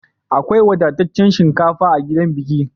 Akwai wadataccen shinkafa a gidan bikin.